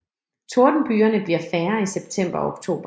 Tordenbygerne bliver færre i september og oktober